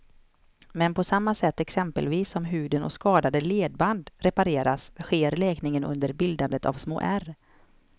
Men på samma sätt exempelvis som huden och skadade ledband repareras sker läkningen under bildandet av små ärr.